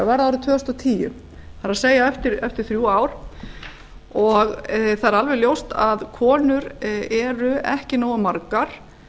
tvö þúsund og tíu það er eftir þrjú ár og það er alveg ljóst að konur eru ekki nógu margar